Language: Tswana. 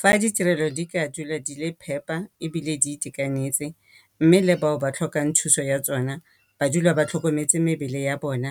Fa ditirelo di ka dula di le phepa ebile di itekanetse mme le bao ba tlhokang thuso ya tsona ba dula ba tlhokometse mebele ya bona.